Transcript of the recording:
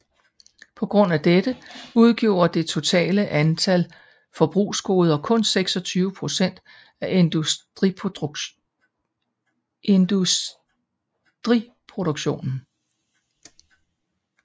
På grund af dette udgjorde det totale antal forbrugsgoder kun 26 procent af industriproduktionen